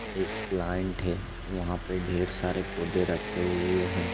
एक प्लाइंट है वहाँ पे ढेर सारे पौधे रखे हुए हैं।